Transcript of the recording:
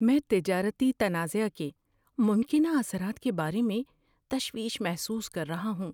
میں تجارتی تنازعہ کے ممکنہ اثرات کے بارے میں تشویش محسوس کر رہا ہوں۔